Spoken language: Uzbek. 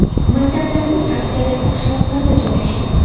Maktablarning aksariyati qishloqlarda joylashgan.